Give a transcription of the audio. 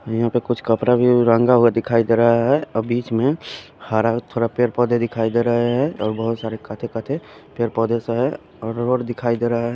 यहां पे कुछ कपड़ा भी रंगा हुआ दिखाई दे रहा है अ बीच में हरा थोड़ा पेड़ पौधे दिखाई दे रहे है और बहुत सारे पेड़ पौधे से है और रोड दिखाई दे रहें--